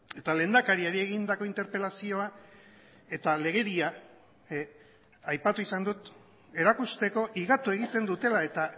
eta lehendakariari egindako interpelazioa eta legedia aipatu izan dut erakusteko higatu egiten dutela eta